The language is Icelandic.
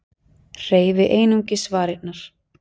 Hreyfi einungis varirnar.